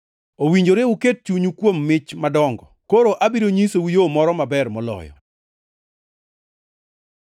Owinjore uket chunyu kuom mich madongo. Koro abiro nyisou yo moro maber moloyo.